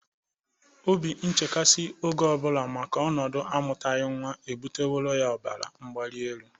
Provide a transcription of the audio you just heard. Obi nchkasị oge ọ bụla maka ọnọdụ amụtagị nwa ya ebụtaworo ya ọbara mgbalịelu.